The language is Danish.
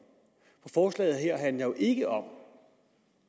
forslaget her handler jo ikke om